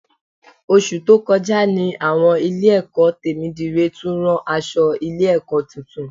Oṣù tó kọjá ní àwọn Ilé-ẹ̀kọ́ Tèmídire tún ran aṣọ Ilé-ẹ̀kọ́ tuntun